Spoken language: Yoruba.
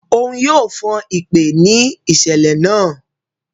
Òún yóò fon ipè ni iṣẹlẹ náà